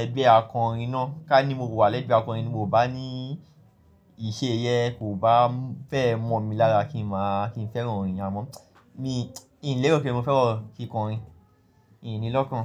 ẹgbẹ́ akọrin ná. Kání mo wà ní ẹgbẹ́ akọrin ni mo bá ní iṣe yẹn kò bá fẹ́ẹ̀ mọ́ mi lára kí n má, kín fẹ́ràn orin amoo mi lérò pé mo fẹ́ràn kíkọrin mìí ní lọ́kàn.